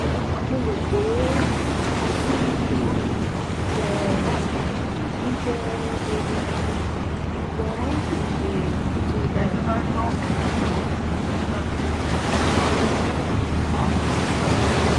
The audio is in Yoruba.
mo ro pe t three mi jẹ mi jẹ deede ṣugbọn kii ṣe ti o dara julọ